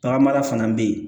Tagama fana bɛ yen